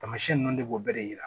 Taamasiyɛn nunnu de b'o bɛɛ de yira